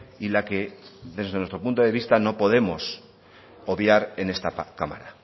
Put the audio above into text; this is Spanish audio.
y la que desde nuestro punto de vista no podemos obviar en esta cámara